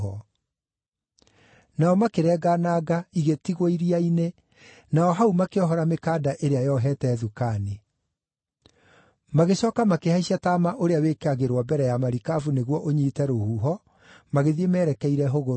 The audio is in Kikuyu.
Nao makĩrenga nanga, igĩtigwo iria-inĩ, na o hau makĩohora mĩkanda ĩrĩa yohete thukani. Magĩcooka makĩhaicia taama ũrĩa wĩkagĩrwo mbere ya marikabu nĩguo ũnyiite rũhuho, magĩthiĩ meerekeire hũgũrũrũ-inĩ.